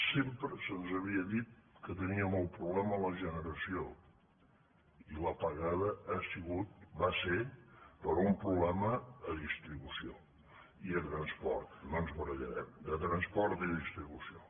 sempre se’ns havia dit que teníem el problema en la generació i l’apagada ha sigut va ser per un problema a distribució i a transport no ens barallarem de transport i distribució